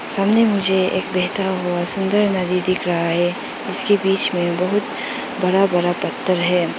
इसमें मुझे एक बहता हुआ सुंदर नदी दिख रहा है उसके बीच में बहुत बड़ा बड़ा पत्थर है।